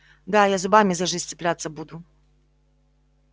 да я зубами за жизнь цепляться буду